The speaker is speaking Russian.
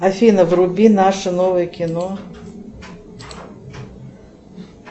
афина вруби наше новое кино